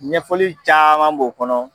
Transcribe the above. Ɲɛfɔli caman b'o kɔnɔ.